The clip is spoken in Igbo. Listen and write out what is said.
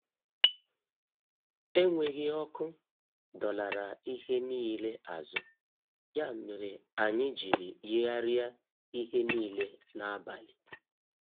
Enweghị ọkụ dọlara ihe niile azụ, ya mere anyị jiri yigharịa ihe niile n'abalị.